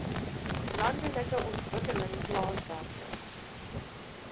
landelike ontwikkeling plaaswerker